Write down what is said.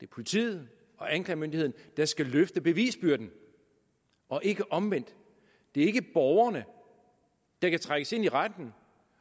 politiet og anklagemyndigheden der skal løfte bevisbyrden og ikke omvendt det er ikke borgerne der kan trækkes ind i retten